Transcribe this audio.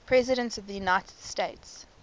presidents of the united states